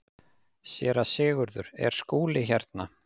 SÉRA SIGURÐUR: Er Skúli hérna?